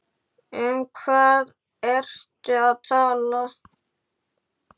Um hvað ertu að tala?